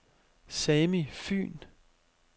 Sami Fyhn